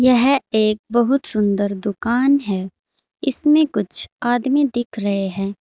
यह एक बहुत सुंदर दुकान है इसमें कुछ आदमी दिख रहे हैं।